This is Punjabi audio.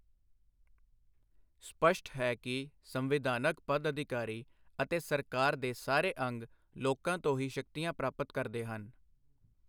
ਸਪੱਸ਼ਟ ਹੈ ਕਿ ਸੰਵਿਧਾਨਕ ਪਦਅਧਿਕਾਰੀ ਅਤੇ ਸਰਕਾਰ ਦੇ ਸਾਰੇ ਅੰਗ ਲੋਕਾਂ ਤੋਂ ਹੀ ਸ਼ਕਤੀਆਂ ਪ੍ਰਾਪਤ ਕਰਦੇ ਹਨ।